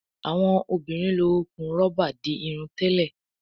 Awọn obìrin ló okún roba dì Irun tèlé